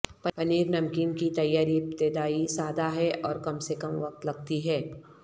پنیر نمکین کی تیاری ابتدائی سادہ ہے اور کم سے کم وقت لگتی ہے